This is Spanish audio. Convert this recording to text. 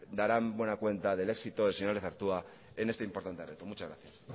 darán buena cuenta del éxito del señor lezartua en este importante reto muchas gracias